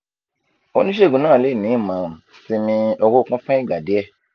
onisegun naa le ni imọran siimi orokun fun igba diẹ